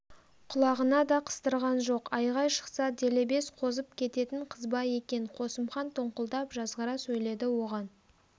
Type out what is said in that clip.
құлағына да қыстырған жоқ айғай шықса делебес қозып кететін қызба екен қосымхан тоңқылдап жазғыра сөйледі оған